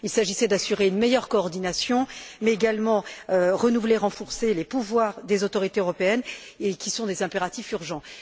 Il s'agissait d'assurer une meilleure coordination, mais également de renouveler et de renforcer les pouvoirs des autorités européennes, qui sont des impératifs urgents.